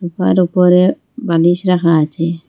Sofa -র উপরে বালিশ রাখা আছে।